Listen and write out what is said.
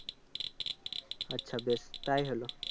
আচ্ছা বেশ তাই হলো